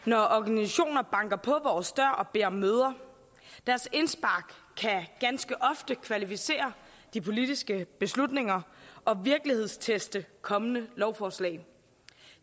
når organisationer banker på vores dør og beder om møder deres indspark kan ganske ofte kvalificere de politiske beslutninger og virkelighedsteste kommende lovforslag